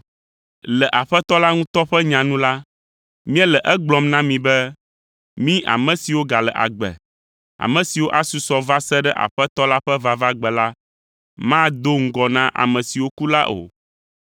Le Aƒetɔ la ŋutɔ ƒe nya nu la, míele egblɔm na mi be mí ame siwo gale agbe, ame siwo asusɔ va se ɖe Aƒetɔ la ƒe vavagbe la mado ŋgɔ na ame siwo ku la o.